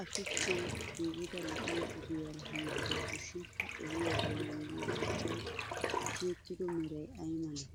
A shuchchan giigida lo'iya ogiyaara hettawusushin ha ogiya bollan diy shuchchay tiyettido meray ay malee?